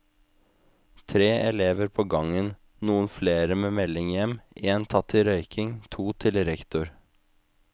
Tre elever på gangen, noen flere med melding hjem, én tatt i røyking, to til rektor.